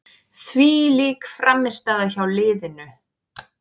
Þvílík frammistaða hjá liðinu.